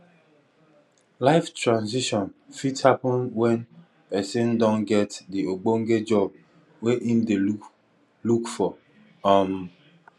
life transition fit happen when person don get di ogbonge job wey im dey look look for um